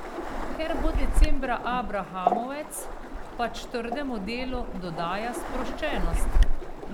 Ker bo decembra abrahamovec, pač trdemu delu dodaja sproščenost.